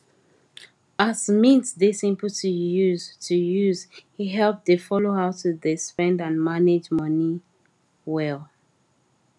as mint dey simple to use to use e help dey follow how to dey spend and manage money wel